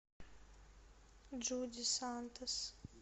джуди сантос